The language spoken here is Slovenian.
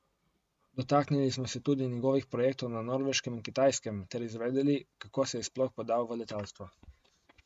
Dotaknili smo se tudi njegovih projektov na Norveškem in Kitajskem ter izvedeli, kako se je sploh podal v letalstvo.